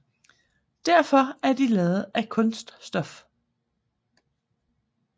Derfor er de lavet af kunststof